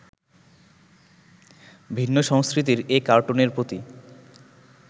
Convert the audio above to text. ভিন্ন সংস্কৃতির এ কার্টুনের প্রতি